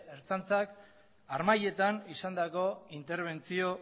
ertzaintzak harmailetan izandako interbentzio